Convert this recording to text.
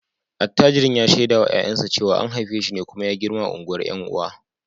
Attajirin ya shaida wa ’ya’yansa cewa an haife shi ne kuma ya girma a unguwar ’yan uwa